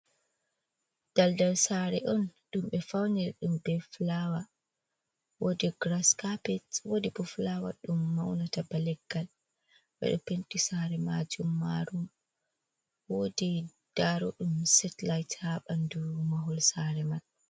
"Daldal saare on ɗum ɓe fauniri ɗum e fulaawa, wodi grass kapet wodi bo fulaawa ɗum maunata ba leggal, ɓeɗo penti saare majum marum wodi daaro ɗum setlit ha ɓandu mahol saare man.